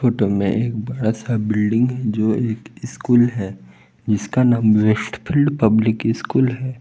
Photo में एक बड़ासा बिल्डिंग है जो एक स्कूल है जिसका नाम वेस्ट फील्ड पब्लिक स्कूल है।